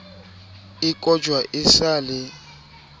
e kojwa e sa le